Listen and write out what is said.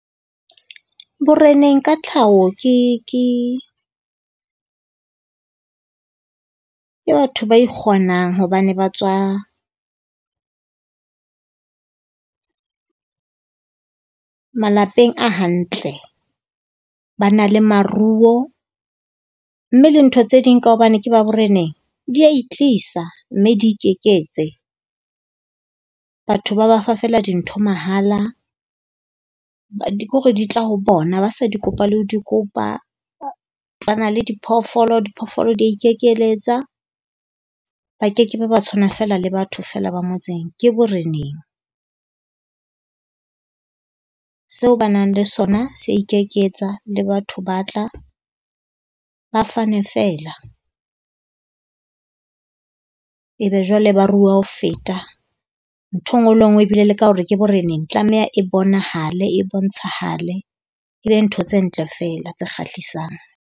Boreneng ka tlhaho ke ke ke batho ba ikgonang hobane ba tswa malapeng a hantle. Ba na le maruo, mme le ntho tse ding ka hobane ke ba boreneng di a e tlisa, mme di ikeketse. Batho ba ba fa feela dintho mahala, ke hore di tla ho bona ba sa di kopa le ho di kopa. Ba na le diphoofolo, diphoofolo di a ikekeletsa. Ba kekebe ba tshwana feela le batho feela ba motseng, ke boreneng. Seo ba nang le sona se a ikeketsa le batho ba tla, ba fane feela. Ebe jwale ba ruwa ho feta ntho e nngwe le e nngwe ebile le ka hore ke boreneng, tlameha e bonahale e bontshahale, ebe ntho tse ntle feela tse kgahlisang.